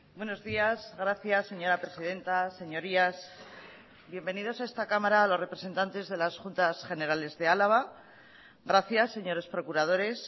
buenos días gracias señora presidenta señorías bienvenidos a esta cámara a los representantes de las juntas generales de álava gracias señores procuradores